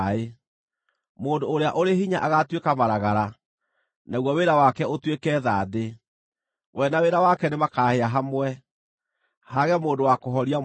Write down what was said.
Mũndũ ũrĩa ũrĩ hinya agaatuĩka maragara, naguo wĩra wake ũtuĩke thandĩ; we na wĩra wake nĩmakahĩa hamwe, haage mũndũ wa kũhoria mwaki ũcio.”